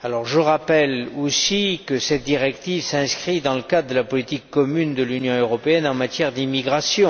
Je rappelle aussi que cette directive s'inscrit dans le cadre de la politique commune de l'Union européenne en matière d'immigration.